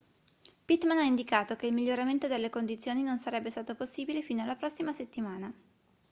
pittman ha indicato che il miglioramento delle condizioni non sarebbe stato possibile fino alla prossima settimana